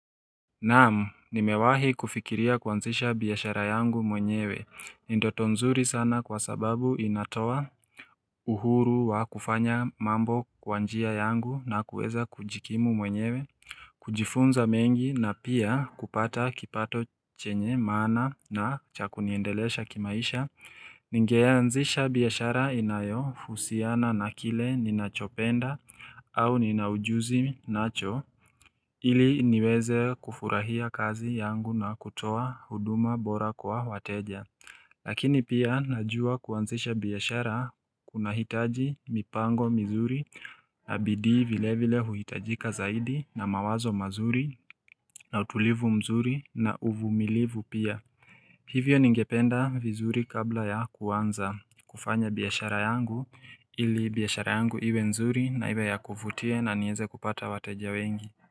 Naam, nimewahi kufikiria kuanzisha biashara yangu mwenyewe. Ni ndoto nzuri sana kwa sababu inatoa uhuru wa kufanya mambo kwa njia yangu na kuweza kujikimu mwenyewe kujifunza mengi na pia kupata kipato chenye mana na cha kuniendelesha kimaisha Ningeanzisha biashara inayohusiana na kile ninachopenda au nina ujuzi nacho ili niweze kufurahia kazi yangu na kutoa huduma bora kwa wateja Lakini pia najua kuanzisha biashara kunahitaji mipango mizuri na bidii vile vile huhitajika zaidi na mawazo mazuri na utulivu mzuri na uvumilivu pia Hivyo ningependa vizuri kabla ya kuanza kufanya biashara yangu ili biashara yangu iwe nzuri na iwe ya kuvutia na nieze kupata wateja wengi.